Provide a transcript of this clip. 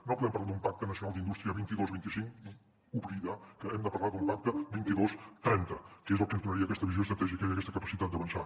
no podem parlar d’un pacte nacional d’indústria vint dos vint cinc i oblidar que hem de parlar d’un pacte vint dos trenta que és el que ens donaria aquesta visió estratègica i aquesta capacitat d’avançar